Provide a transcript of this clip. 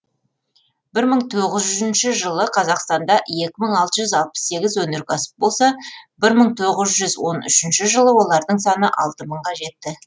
бір мың тоғыз жүзінші жылы қазақстанда екі мың алты жүз алпыс сегіз өнеркәсіп болса бір мың тоғыз жүз он үшінші жылы олардың саны алты мыңға жетті